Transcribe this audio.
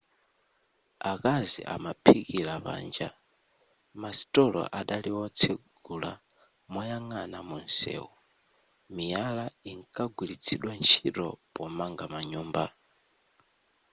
akazi amaphikira panja masitolo anali otsegula moyang'ana mumsewu miyala inkagwiritsidwa ntchito pomanga manyumba